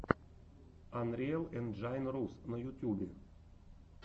анриэл энджайн рус на ютюбе